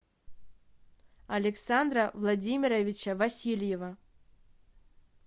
александра владимировича васильева